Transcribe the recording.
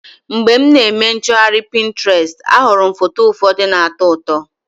Mgbe m na-eme nchọgharị Pinterest, ahụrụ m foto ụfọdụ na-atọ ụtọ.